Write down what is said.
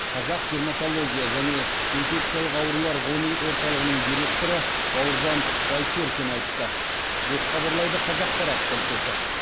қазақ дерматология және инфекциялық аурулар ғылыми орталығының директоры бауыржан байсеркин айтты деп хабарлайды қазақпарат тілшісі